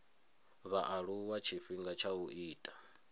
vhaaluwa tshifhinga tsha u ita